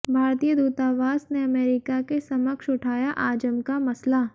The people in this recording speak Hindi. भारतीय दूतावास ने अमेरिका के समक्ष उठाया आजम का मसला